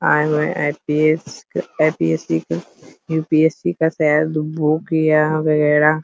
आए हुए आई.पि.एस. के आई.पि.एस. यु.पि.एस.सी. का शायद यहाँ बुक यहाँ वगेरा --